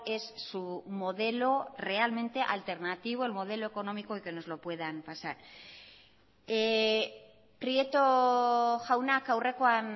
es su modelo realmente alternativo el modelo económico y que nos lo puedan pasar prieto jaunak aurrekoan